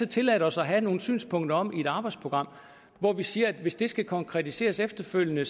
tilladt os at have nogle synspunkter om i et arbejdsprogram hvor vi siger at hvis det skal konkretiseres efterfølgende